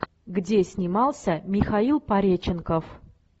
где снимался михаил пореченков